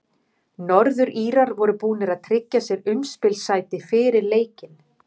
Norður-Írar voru búnir að tryggja sér umspilssæti fyrir leikinn.